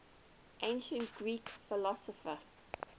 ancient greek philosopher